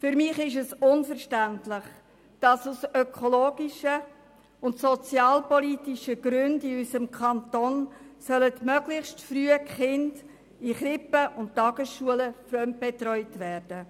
Für mich ist es unverständlich, dass die Kinder in unserem Kanton aus ökologischen und sozialpolitischen Gründen möglichst früh in Krippen und Tagesschulen fremdbetreut werden.